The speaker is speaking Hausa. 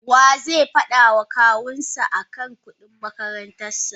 Waze fada ma Kawunshi akan kudin makarantarsa?